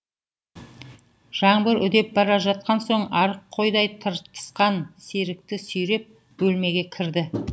жаңбыр үдеп бара жатқан соң арық қойдай тыртысқан серікті сүйреп бөлмеге кірді